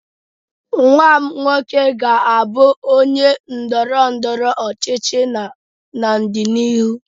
Nwa m nwoke ga-abụ onye ndọrọ ndọrọ ọchịchị n'ọdịnihu